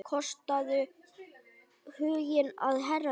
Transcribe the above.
Kostaðu huginn að herða.